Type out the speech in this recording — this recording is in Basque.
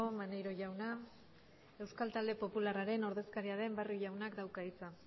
maneiro jauna euskal talde popularraren ordezkaria den barrio jaunak dauka hitza